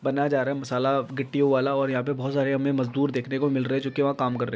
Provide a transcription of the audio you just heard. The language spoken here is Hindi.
बनाया जा रहा है मसाला गिट्टियों वाला और यहाँ पे बहोत सारे हमें मजदूर देखने को मिल रहे जो कि वहाँ काम कर र --